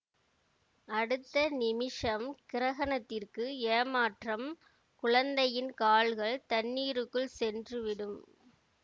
அடுத்த நிமிஷம் கிரகணத்திற்கு ஏமாற்றம் குழந்தையின் கால்கள் தண்ணீருக்குள் சென்று விடும்